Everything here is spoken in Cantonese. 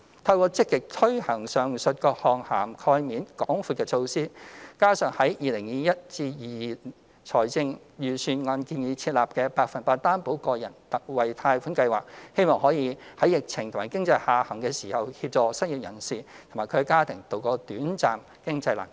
透過積極推行上述各項涵蓋面廣闊的措施，加上在 2021-2022 年度財政預算案建議設立的百分百擔保個人特惠貸款計劃，希望可在疫情和經濟下行時，協助失業人士及其家庭渡過短暫經濟難關。